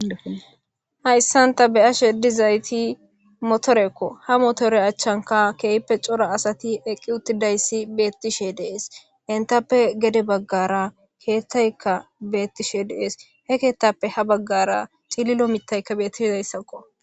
hayssanta beya shedizayti motorekko ha motore achchanka keeyppe cora asati eqqi uttidayssi beettishe dees intappe gede baggara keettaykka beettishe dees he keettappe ha baggara tililo mitaykka bettishidayssakko